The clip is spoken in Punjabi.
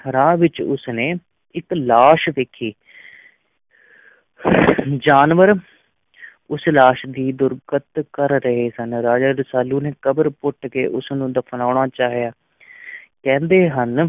ਰਾਹ ਵਿੱਚ ਉਸ ਨੇ ਇੱਕ ਲਾਸ਼ ਵੇਖੀ ਜਾਨਵਰ ਉਸ ਲਾਸ਼ ਦੀ ਦੁਰਗਤ ਕਰ ਰਹੇ ਸਨ, ਰਾਜਾ ਰਸਾਲੂ ਨੇ ਕਬਰ ਪੁੱਟ ਕੇ ਉਸ ਨੂੰ ਦਫ਼ਨਾਉਣਾ ਚਾਹਿਆ ਕਹਿੰਦੇ ਹਨ,